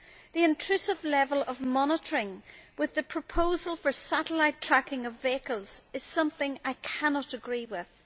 The intrusive level of monitoring with the proposal for satellite tracking of vehicles is something I cannot agree with.